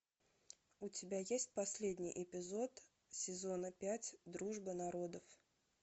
у тебя есть последний эпизод сезона пять дружба народов